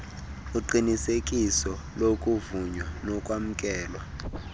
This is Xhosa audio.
uqinisekiso lokuvunywa nokwamkelwa